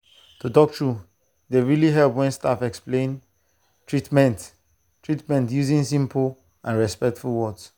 to talk true e dey really help when staff explain treatment treatment using simple and respectful words.